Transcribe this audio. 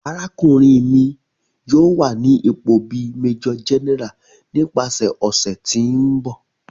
Arakunrin mi yoo wa ni ipo bi Major General nipasẹ ọsẹ ti n bọ.